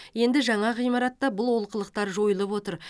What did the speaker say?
енді жаңа ғимаратта бұл олқылықтар жойылып отыр